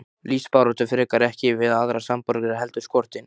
Lífsbaráttu frekar, ekki við aðra samborgara heldur skortinn.